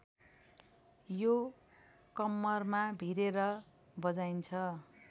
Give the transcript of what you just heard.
यो कम्मरमा भिरेर बजाइन्छ